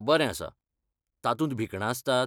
बरें आसा! तातूंत भिकणां आसतात?